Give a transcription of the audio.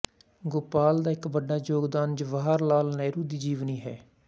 ਗੋਪਾਲ ਦਾ ਇੱਕ ਵੱਡਾ ਯੋਗਦਾਨ ਜਵਾਹਰ ਲਾਲ ਨਹਿਰੂ ਦੀ ਜੀਵਨੀ ਹੈ